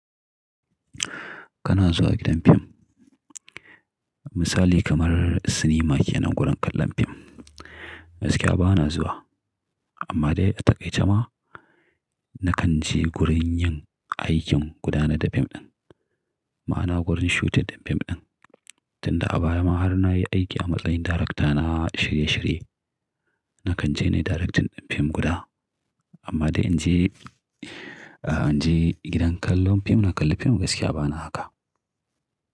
Kana zuwa gidan fim, misali kamar cinema ke nan gurin kallon fim. Gaskiya ba na zuwa amma dai a takaice ma na kan je gurin yin aikin gudanar da fim ɗin, ma'ana gurin shooting ɗin fim ɗin. Tunda a baya ma har na yi aiki a matsayin darekta na shirye shirye, na kan je nayi direct ɗin fim guda. Amma dai in je, in je gidan kallon fim na kalli fim gaskiya ba na haka.